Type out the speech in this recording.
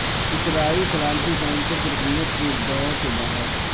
اسرائیل سلامتی کونسل کی رکنیت کی دوڑ سے باہر